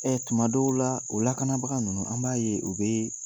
tuma dɔw la o lakanabaga ninnu an b'a ye o bɛ